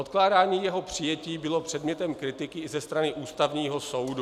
Odkládání jeho přijetí bylo předmětem kritiky i ze strany Ústavního soudu.